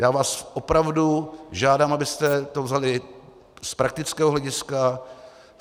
Já vás opravdu žádám, abyste to vzali z praktického hlediska.